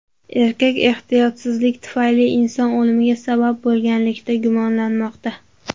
Erkak ehtiyotsizlik tufayli inson o‘limiga sabab bo‘lganlikda gumonlanmoqda.